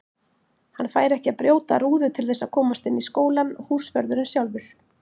Hann færi ekki að brjóta rúðu til þess að komast inn í skólann, húsvörðurinn sjálfur!